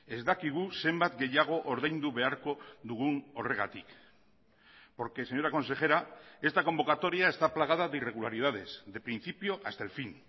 ez dakigu zenbat gehiago ordaindu beharko dugun horregatik porque señora consejera esta convocatoria está plagada de irregularidades de principio hasta el fin